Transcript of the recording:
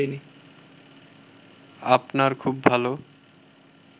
আপনার খুব ভালো